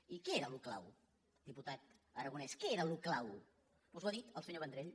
i què era allò clau diputat aragonès què era allò clau us ho ha dit el senyor vendrell